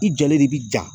I jɔlen de bi ja